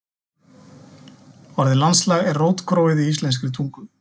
Orðið landslag er rótgróið í íslenskri tungu.